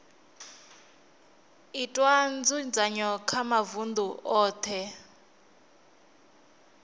itwa nzudzanyo kha mavunḓu oṱhe